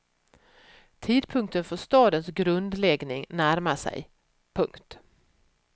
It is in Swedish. Tidpunkten för stadens grundläggning närmar sig. punkt